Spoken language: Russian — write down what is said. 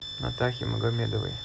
натахе магомедовой